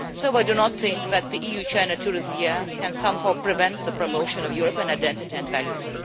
So I do not think that the EU China Tourism Year can somehow prevent the promotion of European identity and values.